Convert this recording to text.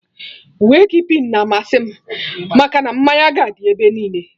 Wake keeping na amasị m, maka na mmanya ga dị ebe niile